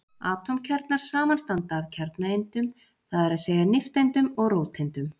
Atómkjarnar samanstanda af kjarnaeindum, það er að segja nifteindum og róteindum.